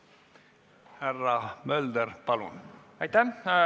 Härra Mölder, palun!